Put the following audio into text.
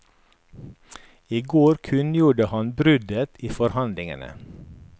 I går kunngjorde han bruddet i forhandlingene.